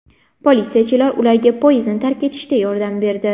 Politsiyachilar ularga poyezdni tark etishda yordam berdi.